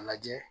A lajɛ